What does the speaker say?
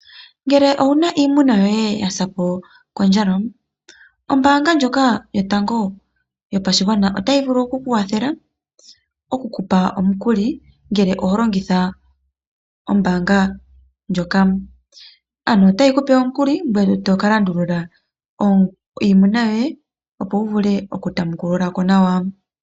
Ngele owu na iimuna yoye yasapo kondjala, ombaanga ndjono yotango yopashigwana ota yi vulu okukuwathela okukupa omukuli ngele oho longitha ombaanga ndjoka. Ano ota yi kupe omukuli ngweye tokalandulula iimuna yoye opo wu vule oku tamukulula ko nawa.